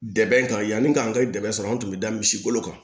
Dɛmɛ kan yanni k'an ka dɛmɛ sɔrɔ an tun bɛ da misi golo kan